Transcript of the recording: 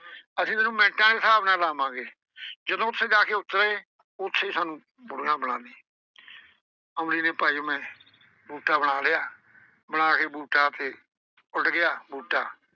ਅਸੀਂ ਤੈਨੂੰ ਮਿੰਟਾਂ ਦੇ ਸਾਬ੍ਹ ਨਾਲ ਬਣਾਵਾਂਗੇ। ਜਦੋਂ ਉੱਥੇ ਜਾ ਕੇ ਉੱਤਰੇ। ਉੱਥੇ ਈ ਸਾਨੂੰ ਬੁੱਢੀਆਂ ਬਣਾ ਦਈ ਅਮਲੀ ਨੇ ਭਾਈ ਓਵੇਂ ਬੂਟਾ ਬਣਾ ਲਿਆ। ਬਣਾ ਕੇ ਬੂਟਾ ਉੱਥੇ ਉੱਡ ਗਿਆ ਬੂਟਾ,